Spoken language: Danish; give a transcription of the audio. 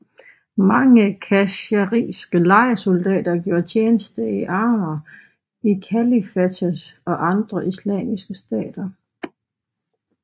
Mange khazariske lejesoldater gjorde tjeneste i armeer i kalifatet og andre islamske stater